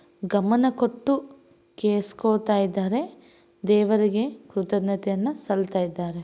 ಗಮನಕೊಟ್ಟು ಕೆಳಸಕೊತ ಇದ್ದಾರೆ ದೇವರಿಗೆ ಕೃತಜ್ಞತೆಯನ್ನ ಸಲ್ಲತ್ತಾ ಇದ್ದಾರೆ.